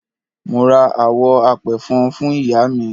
Mo ra àwọ̀ apẹ̀fọn fún Iyaami.